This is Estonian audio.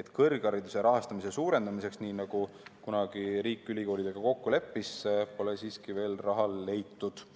et kõrghariduse rahastamise suurendamiseks, nii nagu kunagi riik ülikoolidega kokku leppis, pole siiski veel raha leitud.